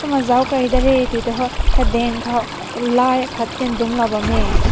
kumna na zao kai da rae tate ho kadeng kaw kalai aakat dünk bam meh.